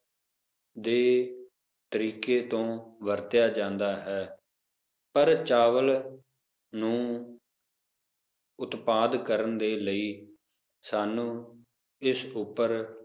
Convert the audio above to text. ਦੇ ਤਰੀਕੇ ਤੋਂ ਵਰਤਿਆ ਜਾਂਦਾ ਹੈ, ਪਰ ਚਾਵਲ ਨੂੰ ਉਤਪਾਦ ਕਰਨ ਦੇ ਲਈ ਸਾਨੂੰ ਇਸ ਉਪਰ,